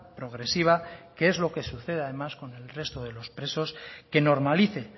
progresiva que es lo que sucede además con el resto de los presos que normalice